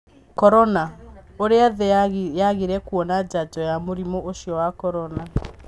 Korona: ũrĩa thĩ yagire kuona njanjo ya mũrimũ ũcio wa Covid-19